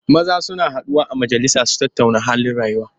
Maza suna taruwa a majalisa su tattauna halin rayuwa.